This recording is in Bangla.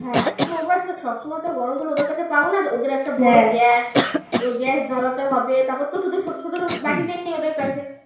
হ্যাঁ তো ওবার তো সবসময় তো গরমজল ওদের কাছে পাব না ওদের একটা বড় gas তো gas জলাতে হবে তারপর তো ছোট ছোট বাটি নেই ওদের কাছে